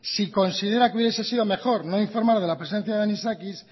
si considera que hubiese sido mejor no informar de la presencia de anisakis